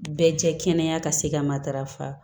Bɛɛ jɛ kɛnɛ ka se ka matarafa